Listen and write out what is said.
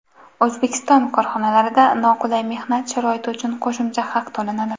O‘zbekiston korxonalarida noqulay mehnat sharoiti uchun qo‘shimcha haq to‘lanadi.